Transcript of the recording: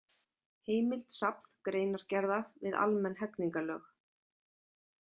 Heimild Safn greinargerða við almenn hegningarlög.